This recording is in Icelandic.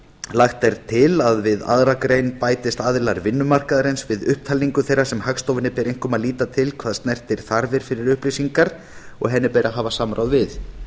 lagt er til að við aðra grein bætist aðilar vinnumarkaðarins við upptalningu þeirra sem hagstofunni ber einkum að líta til hvað snertir þarfir fyrir upplýsingar og henni ber að hafa samráð við